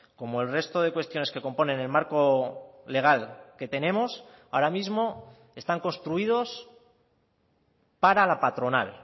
como el resto de cuestiones que componen el marco legal que tenemos ahora mismo están construidos para la patronal